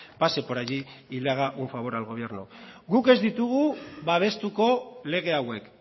pase por allí y le haga un favor al gobierno guk ez ditugu babestuko lege hauek